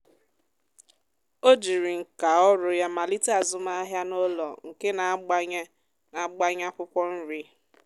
ọ jiri nka ọrụ ya malite azụmahịa n’ụlọ nke na-agbanye na-agbanye akwụkwọ nri.